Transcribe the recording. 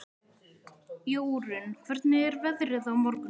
Jórunn, hvernig er veðrið á morgun?